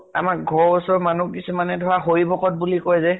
আমাৰ ঘৰৰ ওচৰৰ মানুহ কিছুমানে ধৰা হৰি ভকত বুলি কয় যে